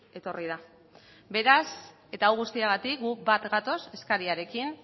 etorri da beraz eta hau guztiagatik guk bat gatoz eskariarekin